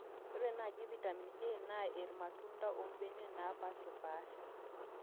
ore naaji vitamin A naa irmatunda ombenek naapaashipaasha